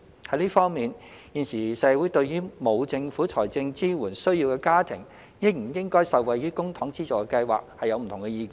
在這方面，現時社會對於沒有政府財政支援需要的家庭應不應該受惠於公帑資助的計劃有不同意見。